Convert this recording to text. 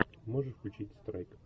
можешь включить страйк